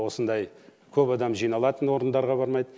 осындай көп адам жиналатын орындарға бармайды